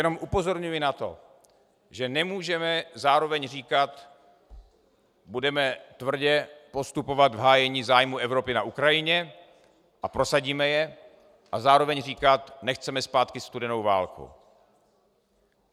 Jenom upozorňuji na to, že nemůžeme zároveň říkat "budeme tvrdě postupovat v hájení zájmů Evropy na Ukrajině a prosadíme je" a zároveň říkat "nechceme zpátky studenou válku".